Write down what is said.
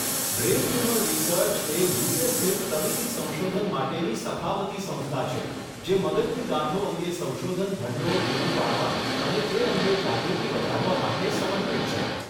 Brain tumour research એ UK. સ્થિત તબીબી સંશોધન માટેની સખાવતી સંસ્થા છે જે મગજની ગાંઠો અંગે સંશોધન ભંડોળ પૂરું પાડવા અને તે અંગે જાગૃતિ વધારવા માટે સમર્પિત છે.